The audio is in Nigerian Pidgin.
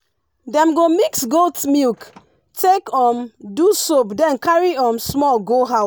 dem go mix goat milk take um do soap then carry um small go house